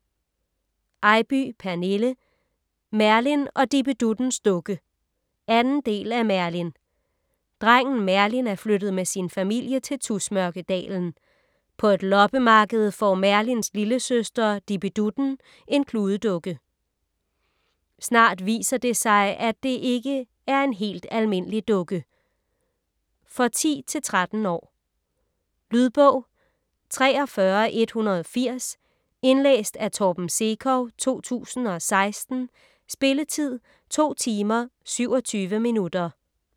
Eybye, Pernille: Merlin og Dippe-Duttens dukke 2. del af Merlin. Drengen Merlin er flyttet med sin familie til Tusmørkedalen. På et loppemarked får Merlins lillesøster Dippe-Dutten en kludedukke. Snart viser det sig at det ikke er en helt almindelig dukke. For 10-13 år. Lydbog 43180 Indlæst af Torben Sekov, 2016. Spilletid: 2 timer, 27 minutter.